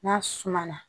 N'a suma na